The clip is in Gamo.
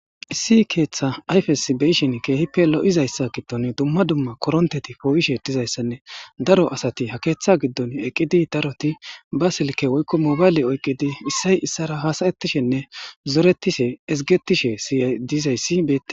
Issi keeththa ayfesbeyishin keehippe lo'izayssa giddon dumma dumma koronteti poo'ishe dizayssanne daro asati ha keeththa giddon eqqidi daroti ba silke woykko mobayle oyqidi issay issara haasayettishenne zoretishe ezgetishe siyay diizayssi be..